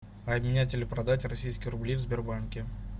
обменять или продать российские рубли в сбербанке